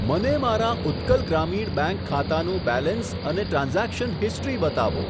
મને મારા ઉત્કલ ગ્રામીણ બેંક ખાતાનું બેલેન્સ અને ટ્રાન્ઝેક્શન હિસ્ટ્રી બતાવો.